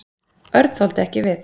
Örn þoldi ekki við.